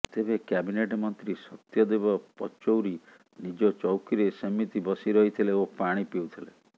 ତେବେ କ୍ୟାବିନେଟ୍ ମନ୍ତ୍ରୀ ସତ୍ୟଦେବ ପଚୌରୀ ନିଜ ଚୌକିରେ ସେମିତି ବସି ରହିଥିଲେ ଓ ପାଣି ପିଉଥିଲେ